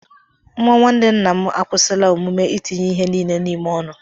Nwa nwanne nna m akwụsịla omume itinye ihe niile n'ime ọnụ